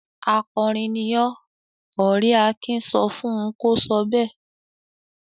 "Akọrin ni ọ́!" Ọ̀rẹ́ Akin sọ fún un kó sọ bẹ́ẹ̀.